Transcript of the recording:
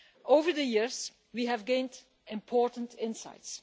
Over the years, we have gained important insights.